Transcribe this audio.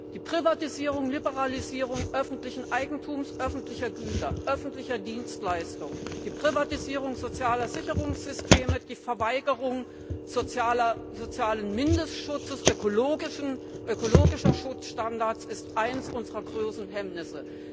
Die Privatisierung, Liberalisierung öffentlichen Eigentums, öffentlicher Güter, öffentlicher Dienstleistungen, die Privatisierung sozialer Sicherungssysteme, die Verweigerung sozialen Mindestschutzes, ökologischer Schutzstandards ist eines unserer großen Hemmnisse.